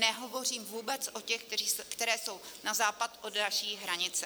Nehovořím vůbec o těch, které jsou na západ od naší hranice.